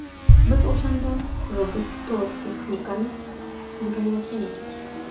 Biz o‘shanda robototexnikani o‘rganayotgan edik.